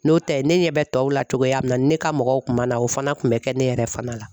N'o tɛ ne ɲɛ bɛ tɔw la togoya min na ne ka mɔgɔw kun b'a na o fana tun bɛ kɛ ne yɛrɛ fana la.